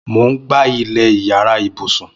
Mó n gbá ilẹ iyàrá ibùsùn